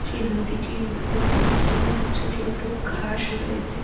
সে নদীটির মধ্যে পরছে এবং ছোট ছোট ঘাস রয়েছে।